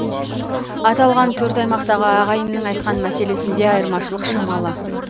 аталған төрт аймақтағы ағайынның айтқан мәселесінде айырмашылық шамалы